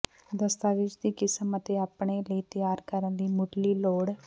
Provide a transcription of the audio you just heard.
ਦਸਤਾਵੇਜ਼ ਦੀ ਕਿਸਮ ਅਤੇ ਆਪਣੇ ਲਈ ਤਿਆਰ ਕਰਨ ਲਈ ਮੁੱਢਲੀ ਲੋੜ